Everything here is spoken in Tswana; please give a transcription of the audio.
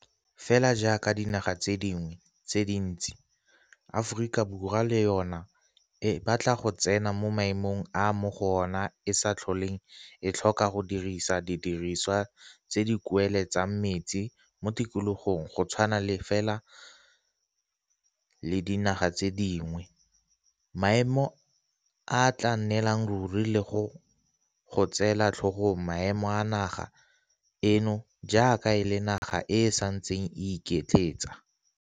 Fela jaaka dinaga tse dingwe tse dintsi, Aforika Borwa le yona e batla go tsena mo maemong a mo go ona e sa tlholeng e tlhoka go dirisa di diriswa tse di kueletsang mesi mo tikologong go tshwana fela le dinaga tse dingwe, maemo a a tla nnelang ruri le go go tseela tlhogong maemo a naga eno jaaka e le naga e e santseng e iketletsa.